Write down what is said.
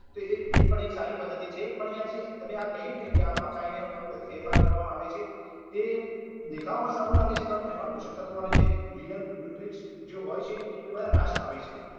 તે એ એ પણ એક સારી પદ્ધતિ છે પણ યાર જે તમે આ કહ્યું ને કે આ મકાઈ ને બધું ફેરફાર કરવામાં આવે છે એ દેખાવમાં સારું લાગે છે પણ એમાં પોષક તત્વો અને જે real nutrients જો હોય છે તે બધા નાશ પામે છે